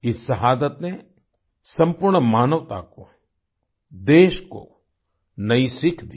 इस शहादत ने संपूर्ण मानवता को देश को नई सीख दी